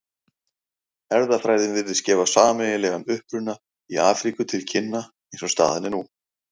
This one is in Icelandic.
Erfðafræðin virðist gefa sameiginlegan uppruna í Afríku til kynna eins og staðan er nú.